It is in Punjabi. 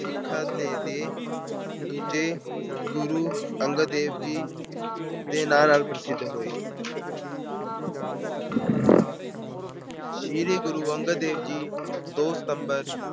ਸਿੱਖਾਂ ਦੇ ਦੂਜੇ ਗੁਰੂ ਅੰਗਦ ਦੇਵ ਜੀ ਦੇ ਨਾਂ ਨਾਲ ਪ੍ਰਸਿੱਧ ਹੋਏ। ਸ਼੍ਰੀ ਗੁਰੂ ਨਾਨਕ ਦੇਵ ਜੀ ਦੋ ਸਤੰਬਰ